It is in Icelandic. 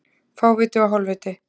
Fáviti og hálfviti